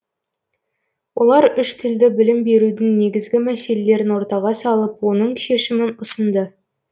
олар үш тілді білім берудің негізгі мәселелерін ортаға салып оның шешімін ұсынды